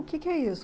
O que que é isso?